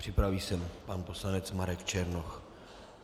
Připraví se pan poslanec Marek Černoch.